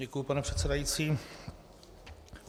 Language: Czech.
Děkuji, pane předsedající.